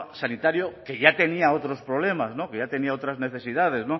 sanitario que ya tenía otros problemas que ya tenía otras necesidades